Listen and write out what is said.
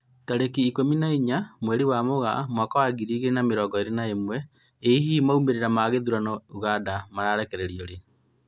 Tarĩki ikũmi na inya mweri wa Mũgaa mwaka wa ngiri igĩri na mĩrongo ĩri na ĩmwe, ĩ hihi maumĩrĩra ma gĩthurano Uganda makarekererio rĩ?